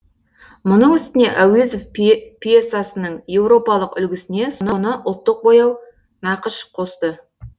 мұның үстіне әуезов пьесасының еуропалық үлгісіне соны ұлттық бояу нақыш қосты